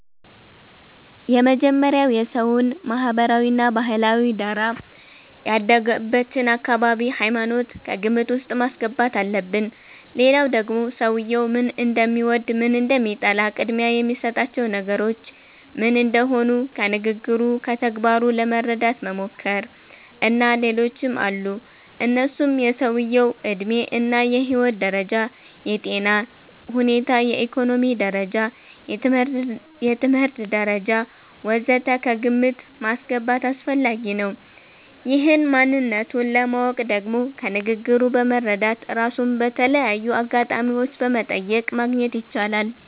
የመጀመሪያዉ የሰዉየዉን ማህበራዊ እና ባህላዊ ዳራ፣ ያደገበትን አካባቢ፣ ሃይማኖት ከግምት ዉስጥ ማስገባት አለብን ሌላዉ ደግሞ ሰዉየዉ ምን እንደሚወድ፣ ምን እንደሚጠላ፣ ቅድሚያ የሚሰጣቸው ነገሮች ምን እንደሆኑ ከንግግሩ፣ ከተግባሩ ለመረዳት መሞከር። እና ሌሎችም አሉ እነሱም የሰዉየዉ ዕድሜ እና የህይወት ደረጃ፣ የጤና ሁኔታ፣ የኢኮኖሚ ደረጃ፣ የትምህርት ደረጃ ወ.ዘ.ተ ከግምት ማስገባት አስፈላጊ ነዉ። ይህን ማንነቱን ለማወቅ ደግሞ ከንግግሩ በመረዳት፣ ራሱን በተለያዩ አጋጣሚዎች በመጠየቅ ማግኘት ይቻላል